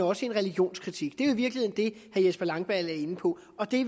også en religionskritik i virkeligheden det herre jesper langballe er inde på og det